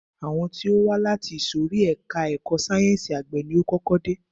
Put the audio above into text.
Àwọn tí ó wá láti ìsòrí ẹka ẹ̀kọ́ sáyẹnsì àgbẹ̀ ni o kọ́kọ́ dé.